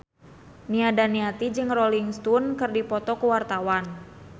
Nia Daniati jeung Rolling Stone keur dipoto ku wartawan